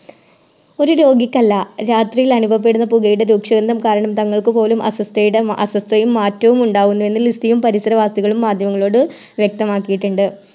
ഒര് രോഗിക്കല്ല രാത്രിയിൽ അനുഭവപ്പെടുന്ന പുകയുടെ രൂക്ഷഗന്ധം കാരണം തങ്ങൾക്കുപോലും അസ്വസ്ഥയുടെ അസ്വസ്ഥയും നാറ്റവും ഉണ്ടാകുന്നു എന്ന് ലിസിയും പരിസരവാസികളും മാധ്യമങ്ങളോട് വ്യെക്തമാക്കിയിട്ടുണ്ട്